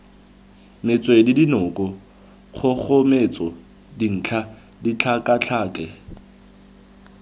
metswedi dinoka kgogometso dintlha ditlhakatlhake